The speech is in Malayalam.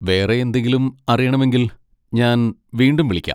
വേറെ എന്തെങ്കിലും അറിയണമെങ്കിൽ ഞാൻ വീണ്ടും വിളിക്കാം.